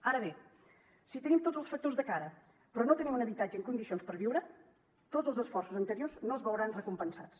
ara bé si tenim tots els factors de cara però no tenim un habitatge en condicions per viure tots els esforços anteriors no es veuran recompensats